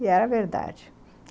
E era verdade.